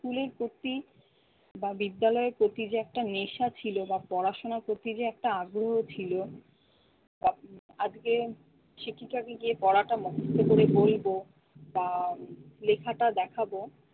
school এর প্রতি বা বিদ্যালয়ের প্রতি যে একটা নেশা ছিল বা পড়াশোনার প্রতি যে একটা আগ্রহ ছিল তা আজকে শিক্ষিকাকে গিয়ে পড়াটা মুখস্ত করে বলবো বা লেখাটা দেখাবো,